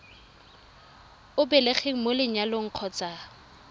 o belegweng mo lenyalong kgotsa